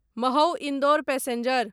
Mhow Indore passenger